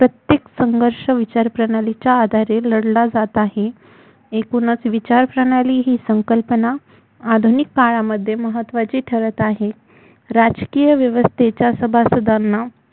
प्रत्येक संर्घष विचारप्रणालीच्या आधारे लढला जात आहे एकूणच विचारप्रणाली ही संकल्पना आधुनिक काळामध्ये महत्त्वाची ठरत आहे राजकीय व्यवस्थेच्या सभासदांना